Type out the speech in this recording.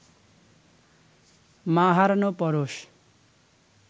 মা হারানো পরশ